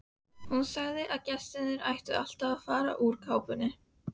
Hún sagði að gestir ættu alltaf að fara úr kápunni.